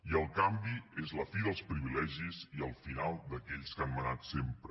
i el canvi és la fi dels privilegis i el final d’aquells que han manat sempre